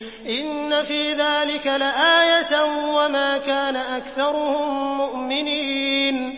إِنَّ فِي ذَٰلِكَ لَآيَةً ۖ وَمَا كَانَ أَكْثَرُهُم مُّؤْمِنِينَ